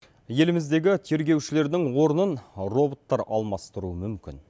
еліміздегі тергеушілердің орнын роботтар алмастыруы мүмкін